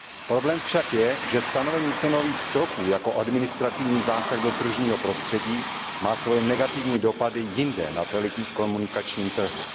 Problém však je, že stanovení cenových stropů jako administrativní zásah do tržního prostředí má svoje negativní dopady jinde na telekomunikačním trhu.